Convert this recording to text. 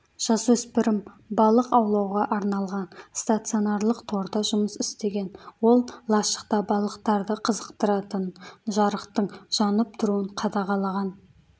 жасөспірім балық аулауға арналған стационарлық торда жұмыс істеген ол лашықта балықтарды қызықтыратын жарықтың жанып тұруын қадағалаған